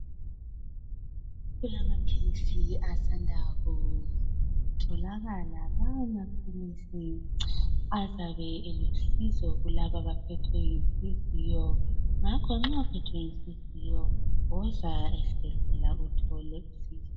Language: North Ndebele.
Kulamapilisi asanda kutholakala. Lawa mapilisi azabe elusizo kulabo abaphethwe yinhliziyo ngakho nxa uphethwe yinhliziyo woza esibhedlela uthole usizo.